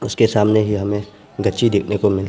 उसके सामने ही हमें देखने को मिल--